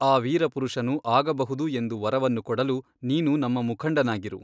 ಆ ವೀರಪುರುಷನು ಆಗಬಹುದು ಎಂದು ವರವನ್ನು ಕೊಡಲು ನೀನು ನಮ್ಮ ಮುಖಂಡನಾಗಿರು.